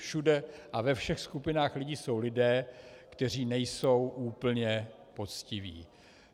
Všude a ve všech skupinách lidí jsou lidé, kteří nejsou úplně poctiví.